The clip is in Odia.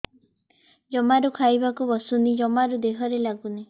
ଜମାରୁ ଖାଇବାକୁ ବସୁନି ଜମାରୁ ଦେହରେ ଲାଗୁନି